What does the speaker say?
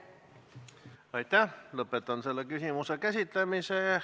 Aitäh!